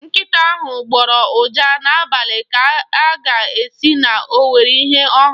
Nkịta ahụ gbọrọ ụja n'abalị ka a ga-asị na o nwere ihe ọ hụrụ.